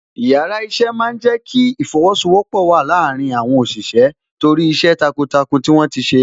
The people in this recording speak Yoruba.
Yàrá iṣẹ́ máa ń jẹ kí ìfosowọpọ̀ wà láàárín àwọn òṣìṣẹ́ torí iṣẹ́ takuntakun tí wọ́n ti ṣe.